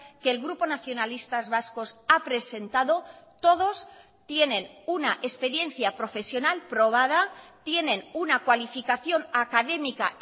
que el grupo nacionalistas vascos ha presentado todos tienen una experiencia profesional probada tienen una cualificación académica